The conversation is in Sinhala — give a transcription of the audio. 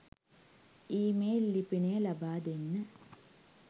ඊමේල් ලිපිනය ලබාදෙන්න